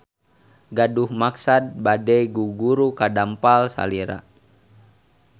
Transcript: Gaduh maksad bade guguru ka dampal salira.